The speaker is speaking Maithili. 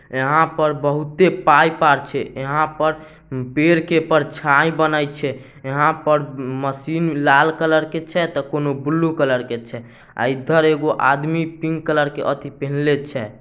यहाँ पर बहुत ही पाइप आर छै यहाँ पर पेड़ की परछाई बनय छै यहाँ पर मशीन लाल कलर के छै त कौन ब्लू कलर के छै आय ईधर एगो आदमी पिंक कलर के अथी पहिनले छै।